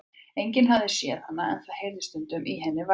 Enginn hafði séð hana, en það heyrðist stundum í henni vælið.